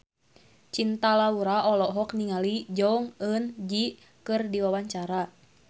Cinta Laura olohok ningali Jong Eun Ji keur diwawancara